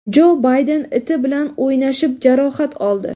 Jo Bayden iti bilan o‘ynashib jarohat oldi.